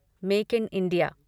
make in India